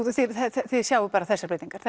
þið þið sjáið bara þessar breytingar